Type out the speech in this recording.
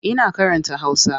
Ina karanta Hausa.